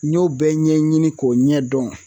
N y'o bɛɛ ɲɛɲini k'o ɲɛdɔn